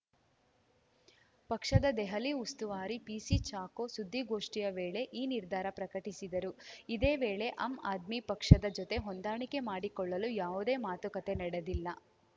ಪಕ್ಷದ ದೆಹಲಿ ಉಸ್ತುವಾರಿ ಪಿಸಿ ಚಾಕೋ ಸುದ್ದಿಗೋಷ್ಠಿಯ ವೇಳೆ ಈ ನಿರ್ಧಾರ ಪ್ರಕಟಿಸಿದರು ಇದೇ ವೇಳೆ ಆಮ್‌ ಆದ್ಮಿ ಪಕ್ಷದ ಜೊತೆ ಹೊಂದಾಣಿಕೆ ಮಾಡಿಕೊಳ್ಳಲು ಯಾವುದೇ ಮಾತುಕತೆ ನಡೆದಿಲ್ಲ